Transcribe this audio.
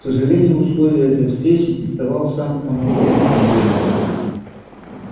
к сожалению условия этой встречи диктовал сам командор а не я